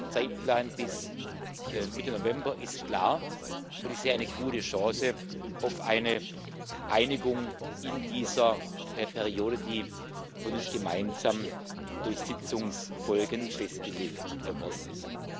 Der Zeitplan bis Mitte November ist klar, und ich sehe eine gute Chance auf eine Einigung in dieser Periode, die von uns gemeinsam durch Sitzungsfolgen festgelegt worden ist.